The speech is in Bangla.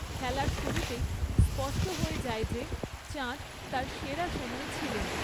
খেলার শুরুতেই স্পষ্ট হয়ে যায় যে চাঁদ তাঁর সেরা সময়ে ছিলেন।